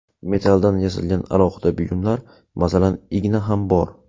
Metalldan yasalgan alohida buyumlar, masalan, igna ham bor.